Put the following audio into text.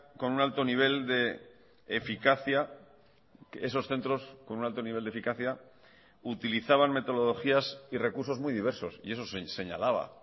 con un alto nivel de eficacia esos centros con un alto nivel de eficacia utilizaban metodologías y recursos muy diversos y eso se señalaba